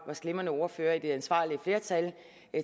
glimrende ordførere i det ansvarlige flertal